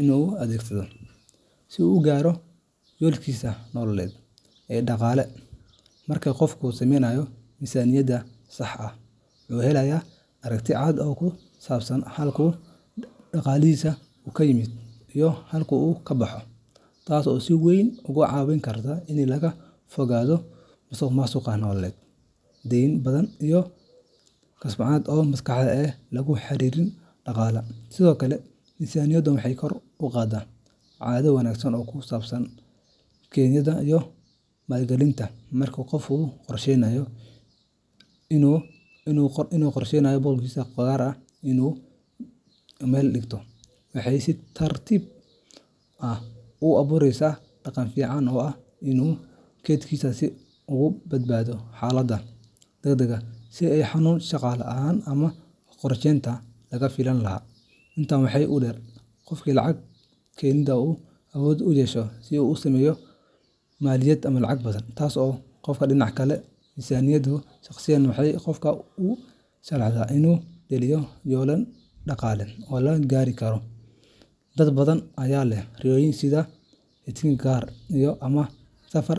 inuu u adeegsado si uu u gaaro yoolkiisa nololeed ee dhaqaale. Marka qofku sameeyo miisaaniyad sax ah, wuxuu helayaa aragti cad oo ku saabsan halka uu dhaqaalihiisu ka yimaado iyo halka uu ka baxo, taasoo si weyn uga caawin karta in laga fogaado musuqmaasuq nololeed, deyn badan, iyo kacsanaanta maskaxeed ee la xiriirta dhaqaalaha. Sidoo kale, miisaaniyaddu waxay kor u qaadaa caado wanaagsan oo ku saabsan kaydinta iyo maalgelinta. Marka qofka uu qorsheeyo in boqolkiiba gaar ah uu bishiiba meel dhigto, waxay si tartiib tartiib ah u abuureysaa dhaqan fiican oo ah inuu kaydsado si uu uga badbaado xaaladaha degdegga ah sida xanuun, shaqo la’aan, ama qarashaad lama filaan ah. Intaa waxaa dheer, qofka lacag kaydiya wuxuu awood u yeeshaa inuu sameeyo maalgelin mustaqbalka fog ah sida dhisashada guri, furashada ganacsi, ama helitaanka fursado waxbarasho. Miisaaniyaddu waxay noqonaysaa dariiqda ugu toosan ee loo maro helitaanka amni dhaqaale oo waara. Dhinaca kale, miisaaniyadda shakhsiyeed waxay qofka u sahlaysaa inuu dejiyo yoolal dhaqaale oo la gaari karo. Dad badan ayaa leh riyooyin sida helitaanka gaari, dhisashada guri, ama safar.